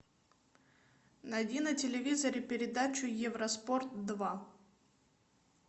найди на телевизоре передачу евроспорт два